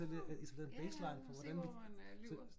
Nåh ja ja se hvor man øh lyver